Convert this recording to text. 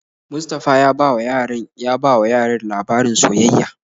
Mustapha ya bawa yaran ya bawa yaran labarin soyayya.